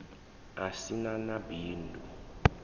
u si na na bindu